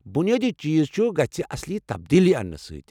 بُنیٲدی چیز چُھ گژھِ اصلی تبدیلی اَننہٕ سۭتۍ ۔